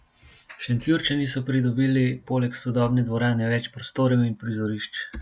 Šentjurčani so pridobili poleg sodobne dvorane več prostorov in prizorišč.